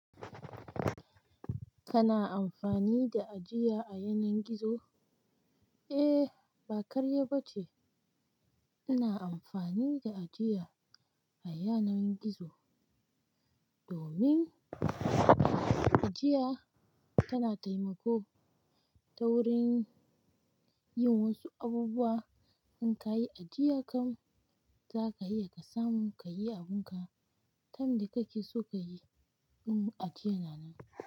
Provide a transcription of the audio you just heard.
Kana amfani da ajiya a yanar gizo? Ehh. Ba karya bace ina amfani da ajiya a yanar gizo domin ajiya tana taimako ta wurin yin wasu abubuwa. In kayi ajiya kam, zaka iya kasamu kayi abunka time da kake so ka yi, in ajiya na nan.